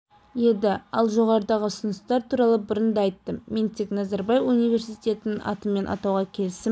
еді ал жоғарыдағы ұсыныстар туралы бұрын да айттым мен тек назарбаев университетін атыммен атауға келісім